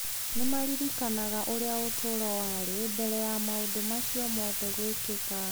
Nĩ maaririkanaga ũrĩa ũtũũro warĩ mbere ya maũndũ macio mothe gwĩkĩka.